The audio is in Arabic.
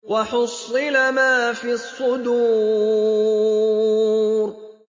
وَحُصِّلَ مَا فِي الصُّدُورِ